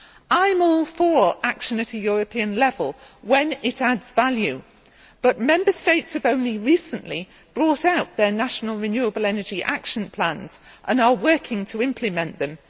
I am all for action at a European level when it adds value, but Member States have only recently brought out their National Renewable Energy Action Plans and are working to implement them